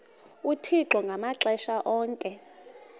uthixo ngamaxesha onke